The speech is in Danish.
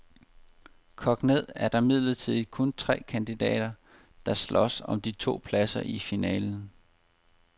Kogt ned er der imidlertid kun tre kandidater, der slås om de to pladser i finalen.